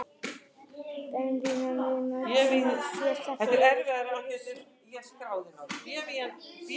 Bévítans náunginn leynir á sér þrátt fyrir að vera í síðbuxum!